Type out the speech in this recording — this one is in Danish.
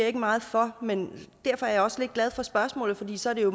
ikke meget for men derfor er jeg også lidt glad for spørgsmålet for så kan